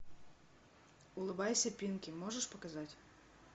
улыбайся пинки можешь показать